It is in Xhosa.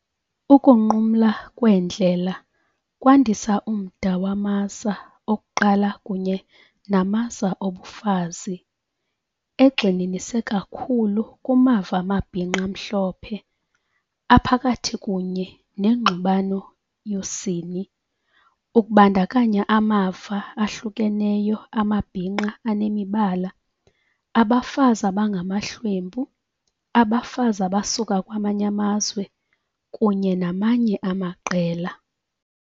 Ukunqumla kweendlela kwandisa umda wamaza okuqala kunye namaza obufazi, egxininise kakhulu kumava amabhinqa amhlophe, aphakathi kunye nengxubano yosini, ukubandakanya amava ahlukeneyo amabhinqa anemibala, abafazi abangamahlwempu, abafazi abasuka kwamanye amazwe, kunye namanye amaqela.